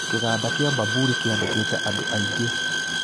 Kĩganda kĩa Bamburi kĩandĩkĩte andũ aingĩ